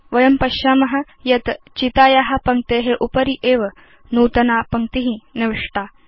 वयं पश्याम यत् चिताया पङ्क्ते उपरि एव नूतना पङ्क्ति निविष्टा